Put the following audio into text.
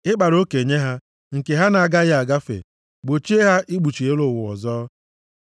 Ị kpara oke nye ha, nke ha na-agaghị agafe, gbochie ha ikpuchi elu ụwa ọzọ.